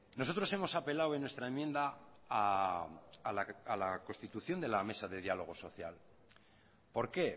nosotros hemos apelado en nuestra enmienda a la constitución de la mesa de dialogo social por qué